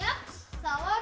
það